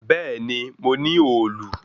Bẹ̀ẹ́ni, mo ní òòlù.